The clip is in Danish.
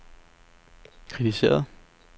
kritiseret